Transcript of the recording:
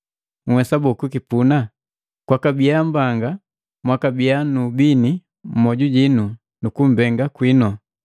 Nhwesa boo kukipuna? Kwakabiya mbanga mwakabiya nu ubini mmoju jinu nukumbenga kwinu.